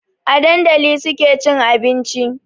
A dandali suke cin abinci